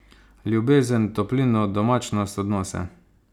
Ljubezen, toplino, domačnost, odnose.